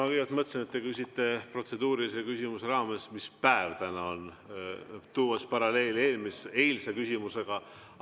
Ma kõigepealt mõtlesin, et te küsite protseduurilise küsimuse raames, mis päev täna on, tuues paralleeli eilse küsimusega.